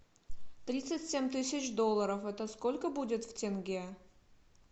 тридцать семь тысяч долларов это сколько будет в тенге